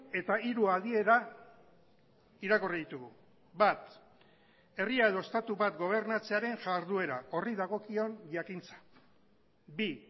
eta hiru adiera irakurri ditugu bat herria edo estatu bat gobernatzearen jarduera horri dagokion jakintza bi